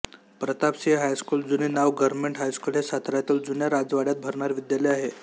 Pratapsinh high school जुने नाव government high school हे साताऱ्यातील जुन्या राजवाड्यात भरणारे विद्यालय आहे